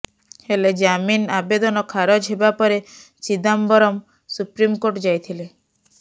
ହେଲେ ଜାମିନ ଆବେଦନ ଖାରଜ ହେବା ପରେ ଚିଦାମ୍ବରମ୍ ସୁପ୍ରିମକୋର୍ଟ ଯାଇଥିଲେ